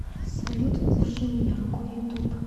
салют держи меня рукой ютуб